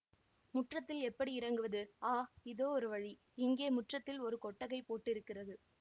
முற்றத்தில் எப்படி இறங்குவது ஆ இதோ ஒரு வழி இங்கே முற்றத்தில் ஒரு கொட்டகை போட்டிருக்கிறது